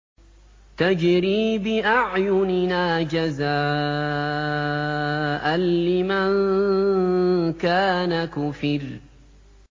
تَجْرِي بِأَعْيُنِنَا جَزَاءً لِّمَن كَانَ كُفِرَ